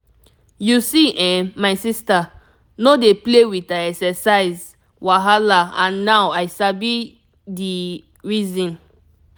you see[um]my sister no dey play with her exercise wahala and now i sabi the reason.